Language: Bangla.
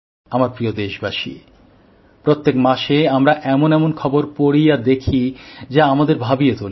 আমার প্রিয় দেশবাসী প্রত্যেক মাসে আমরা এমন এমন খবর পড়ি আর দেখি যা আমাদের ভাবিয়ে তোলে